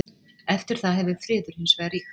Eftir það hefur friður hins vegar ríkt.